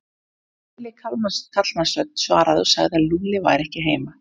Ergileg karlmannsrödd svaraði og sagði að Lúlli væri ekki heima.